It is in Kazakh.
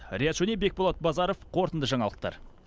риат шони бекболат базаров қорытынды жаңалықтар